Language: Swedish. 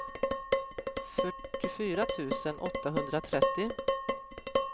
fyrtiofyra tusen åttahundratrettio